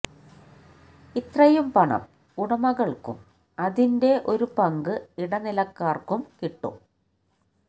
ഇത്രയും പണം ഉടമകള്ക്കും അതിന്റെ ഒരു പങ്ക് ഇടനിലക്കാര്ക്കും കിട്ടും